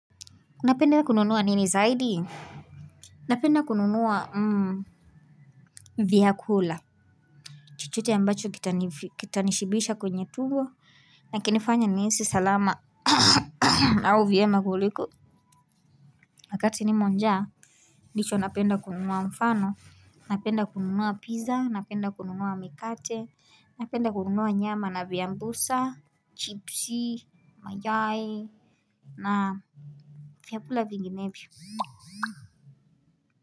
Napenda kununuwa nini zaidi napenda kununuwa vyakula chochote ambacho kita nishibisha kwenye tumbo nakinifanye nihisi salama au vyema kuliko wakati nimo njaa ndicho napenda kununuwa mfano napenda kununuwa pizza napenda kununuwa mikate napenda kununuwa nyama na vyambusa chipsi mayai na vyakula vinginevyo.